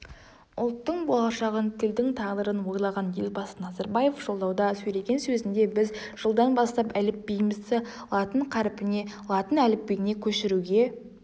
ұлттың болашағын тілдің тағдырын ойлаған елбасы назарбаев жолдауда сөйлеген сөзінде біз жылдан бастап әліпбиімізді латын қарпіне латын әліпбиіне көшіруге